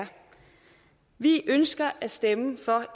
vi ønsker at stemme for